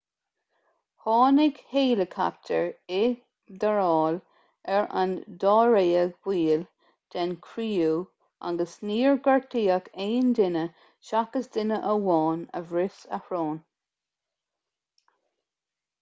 tháinig héileacaptair i dtarrtháil ar an dáréag baill den chriú agus níor gortaíodh aon duine seachas duine amháin a bhris a shrón